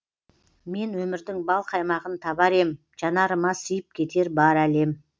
мен өмірдің бал қаймағын табар ем жанарыма сыйып кетер бар әлем